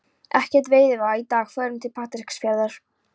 Ekkert veiðiveður í dag, förum til Patreksfjarðar.